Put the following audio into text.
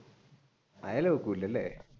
അയില വെക്കൂലല്ലേ?